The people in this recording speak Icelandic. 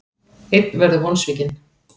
Einn verður vonsvikinn.